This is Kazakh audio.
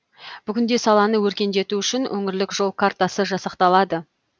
бүгінде саланы өркендету үшін өңірлік жол картасы жасақталды